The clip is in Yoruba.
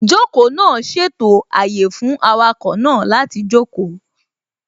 Ìjókòó náà ṣètò àyè fún awakọ̀ náà láti jókòó